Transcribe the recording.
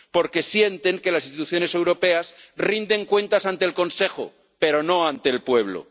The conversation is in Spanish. porque sienten que las instituciones europeas rinden cuentas ante el Consejo pero no ante el pueblo.